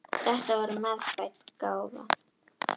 Þetta var meðfædd gáfa.